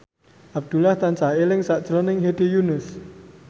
Abdullah tansah eling sakjroning Hedi Yunus